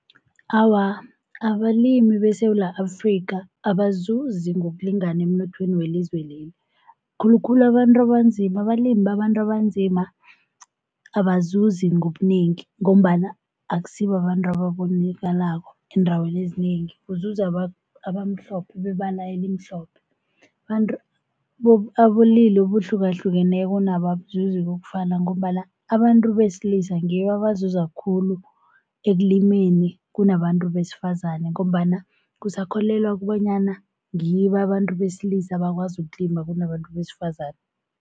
Awa, abalimi beSewula Afrika abazuzi ngokulingana emnothweni welizwe leli, khulukhulu abantu abanzima abalimi babantu abanzima abazuzi ngobunengi ngombana akusibabantu ababonakalako eendaweni ezinengi kuzuza abamhlophe bebala elimhlophe. Abantu bobulili obuhlukahlukeneko nabo abazuzi kokufana ngombana abantu besilisa ngibo abazuza khulu ekulimeni kunabantu besifazane ngombana kusakholelwa kobanyana ngibo abantu besilisa bakwazi ukulima kunabantu besifazane.